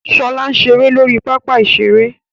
Ṣọlá ń ṣeré lórí pápá ìṣeré